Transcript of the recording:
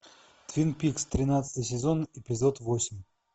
твин пикс тринадцатый сезон эпизод восемь